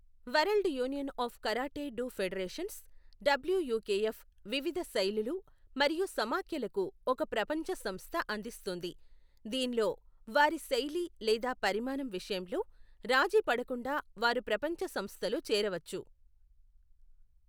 World union of karate do federations, WUKF వివిధ శైలులు మరియు సమాఖ్యలకు ఒక ప్రపంచ సంస్థ అందిస్తుంది, దీనిలో వారి శైలి లేదా పరిమాణం విషయంలో రాజీపడకుండా వారు ప్రపంచ సంస్థలో చేరవచ్చు.